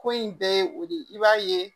Ko in bɛɛ ye o de ye i b'a ye